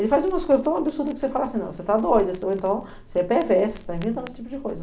Ele fazia umas coisas tão absurdas que você fala assim, não, você está doida, ou então você é perversa, você está inventando esse tipo de coisa.